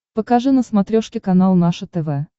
покажи на смотрешке канал наше тв